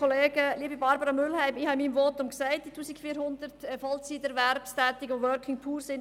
Liebe Barbara Mühlheim, ich habe in meinem Votum gesagt: «Es gibt 1400 Vollzeiterwerbstätige und ‹Working Poor›».